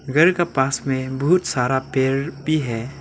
घर का पास में बहुत सारा पेर भी है।